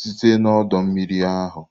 site na ọdọ mmiri ahụ.